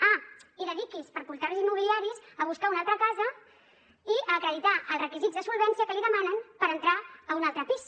ah i dediqui’s per portals immobiliaris a buscar una altra casa i acreditar els requisits de solvència que li demanen per entrar a un altre pis